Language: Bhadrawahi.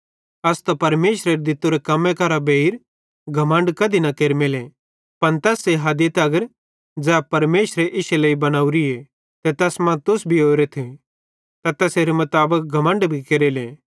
अस परमेशरेरे दित्तोरे कम्मे करां बेइर घमण्ड कधी न केरमेले पन तैस्से हदी तगर ज़ै परमेशरे इश्शे लेइ बनोरीए ते तैस मां तुस भी ओरेथ ते तैसेरे मुताबिक घमण्ड भी केरेले